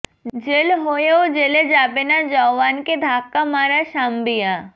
jail হয়েও জেলে যাবে না জওয়ানকে ধাক্কা মারা সাম্বিয়া